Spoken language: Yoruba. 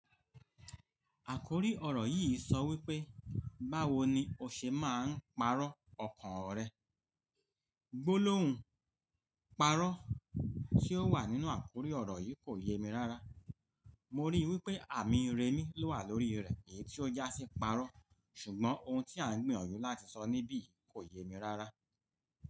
Àkòrí ọ̀rọ̀ yìí sọ wípé, "Báwo ni o ṣe máa ń pàrọ̀ ọkàn rẹ?" gbólóhùn "pàrọ̀" tí ó wà nínú àkórí ọ̀rọ̀ yìí kò yemi rárá. Mo rí i wípé àmì remi ló wà lórí rẹ̀ èyí tí ó jásí "pàrọ̀", ṣùgbọ́n ohun tí à ń gbìyànjú láti sọ níbí yìí kò yemi rárá.